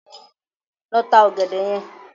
Lọ ta ọ̀gẹ̀dẹ̀ yẹn.